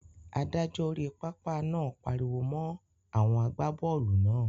Adájọ́ orí pápá náà pariwo mọ́ àwọn àgbábọ́ọ̀lù náà.